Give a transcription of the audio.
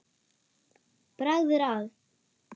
Bragð er að.